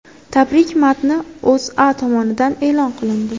Tabrik matni O‘zA tomonidan e’lon qilindi .